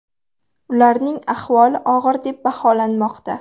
Ularning ahvoli og‘ir deb baholanmoqda.